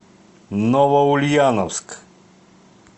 новоульяновск